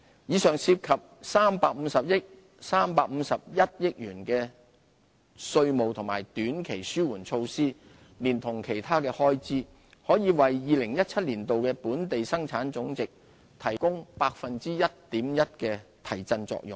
以上涉及351億元的稅務和短期紓緩措施，連同其他的開支，可為2017年的本地生產總值提供 1.1% 的提振作用。